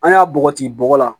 An y'a bɔgɔti bɔgɔ la